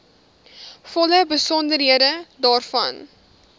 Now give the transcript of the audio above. volle besonderhede daarvan